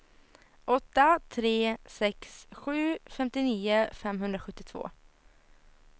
åtta tre sex sju femtionio femhundrasjuttiotvå